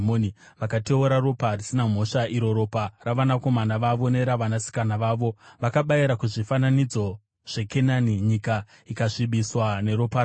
Vakateura ropa risina mhosva, iro ropa ravanakomana vavo neravanasikana vavo, vavakabayira kuzvifananidzo zveKenani, nyika ikasvibiswa neropa ravo.